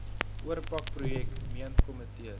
oorpak projek meentkomitees